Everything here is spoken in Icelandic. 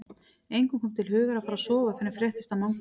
Engum kom til hugar að fara að sofa fyrr en fréttist af Manga.